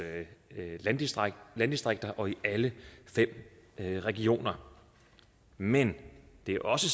landdistrikter landdistrikter og i alle fem regioner men det er også